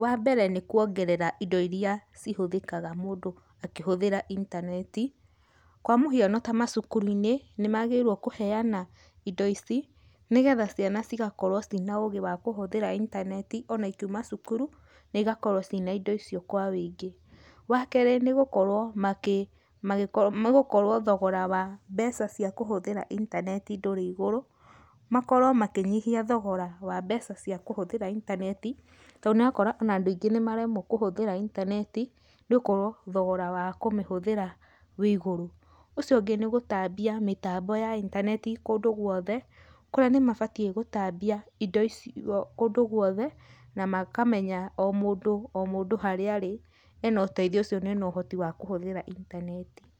Wa mbere nĩ kuongerera indo iria cihũthĩkaga mũndũ akĩhũthĩra intaneti, kwa mũhiano ta macukuru-inĩ, nĩmagĩrĩirwo kũheana indo ici, nĩgetha ciana cigakorwo ciĩ na ũgĩ wa kũhũthĩra intaneti, o na ikiuma cukuru, na igakorwo ciĩna indo icio kwa wũingĩ. Wa kerĩ, nĩgũkorwo makĩ, magĩ nĩgũkorwo thogora wa mbeca ciakũthĩra intaneti ndũrĩ igũrũ, makorwo makĩnyihia thogora wa mbeca cia kũhũthĩra intaneti, to nĩũrakora ona andũ aingĩ nĩmaremwo kũhũthĩra intaneti, nĩgũkorwo thogora wa kũmĩhũthĩra wĩ igũrũ. Ũcio ũngĩ nĩ gũtambia mĩtambo ya intaneti kũndũ guothe, kũrĩa nĩmabatiĩ gũtambia indo icio kũndũ guothe, na makamenya o mũndũ o mũndũ harĩa arĩ, ena ũteithio ũcio ne na ũhoti wa kũhũthĩra intaneti.